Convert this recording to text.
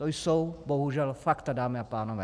To jsou bohužel fakta, dámy a pánové.